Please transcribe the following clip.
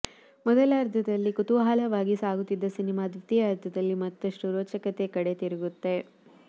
ಮೊದಲಾರ್ಧದಲ್ಲಿ ಕುತೂಹಲವಾಗಿ ಸಾಗುತ್ತಿದ್ದ ಸಿನಿಮಾ ದ್ವೀತಿಯಾರ್ಧದಲ್ಲಿ ಮತ್ತಷ್ಟು ರೋಚಕತೆ ಕಡೆ ತಿರುಗುತ್ತೆ